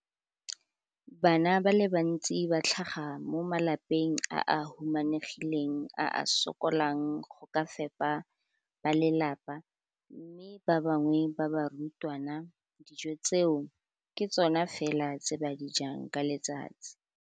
Bana ba le bantsi ba tlhaga mo malapeng a a humanegileng a a sokolang go ka fepa ba lelapa mme ba bangwe ba barutwana, dijo tseo ke tsona fela tse ba di jang ka letsatsi.